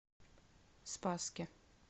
спасске